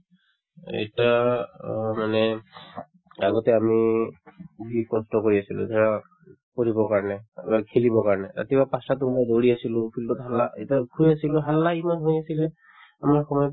আৰু এতিয়া অ মানে আগতে আমি কষ্ট কৰি আছিলো পঢ়িব কাৰণে অ নহয় খেলিবৰ কাৰণে ৰাতিপুৱা পাঁচটাতে ওলাই দৌৰি আছিলো field ত হাল্লা শুই আছিলো হাল্লা ইমান হৈ আছিলে আমাৰ সময়ত